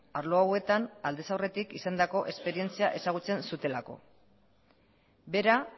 arlo hauetan aldez aurretik izandako esperientzia ezagutzen zutelako bera